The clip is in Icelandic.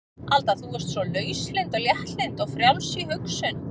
Alda þú varst svo lauslynd og léttlynd og frjáls í hugsun.